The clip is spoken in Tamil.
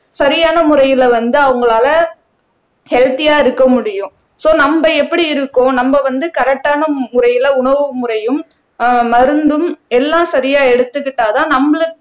சரியான முறையில வந்து அவங்களால ஹெல்த்தியா இருக்க முடியும் சோ நம்ம எப்படி இருக்கோம் நம்ம வந்து கரெக்ட்டான முறையில உணவு முறையும் அஹ் மருந்தும் எல்லாம் சரியா எடுத்துக்கிட்டாதான் நம்மளுக்